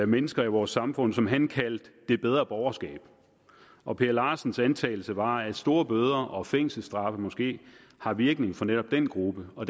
mennesker i vores samfund som han kaldte det bedre borgerskab og per larsens antagelse var at store bøder og fængselsstraffe måske har virkning for netop den gruppe og